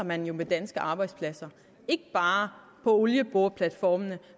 man jo med danske arbejdspladser ikke bare på olieboreplatformene